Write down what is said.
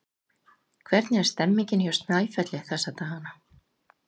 Hvernig er stemmningin hjá Snæfelli þessa dagana?